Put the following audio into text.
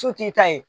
Su t'i ta ye